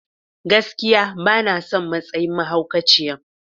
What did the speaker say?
Gaskiya! Bana son matsayin mahaukaciyan.